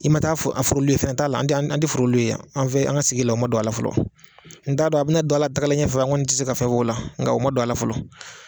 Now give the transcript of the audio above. I ma taa fo a f'olu ye fɛn t'a la an te an te foro yan. An fe an ŋa sigi la o ma don a la fɔlɔ. N t'a dɔn a bi na don a la tagalen ɲɛ fɛ ŋɔni ti se ka fɛn f'o la nka o ma don a la fɔlɔ.